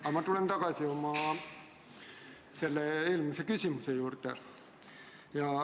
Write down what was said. Aga ma tulen tagasi oma eelmise küsimuse juurde.